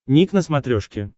ник на смотрешке